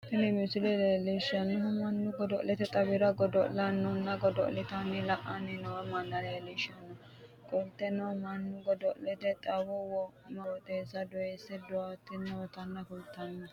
Tini misile leelishanohu Manu godo'lete xawira godo'laano godo'litanna la'anni noo manna leelishano qoleno Manu godo'lete xawo wo'me qooxeessa doyise daa'tanni noota kultano.